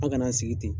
An kana an sigi ten